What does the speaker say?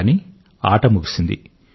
కానీ ఆట ముగిసింది